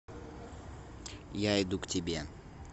я иду к тебе